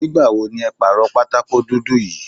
Nígbà wo ni ẹ pàrọ̀ pátákó dúdú yí?